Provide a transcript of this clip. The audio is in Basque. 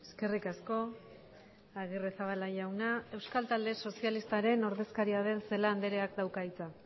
eskerrik asko agirrezabala jauna euskal talde sozialistaren ordezkaria den celaá andreak dauka hitza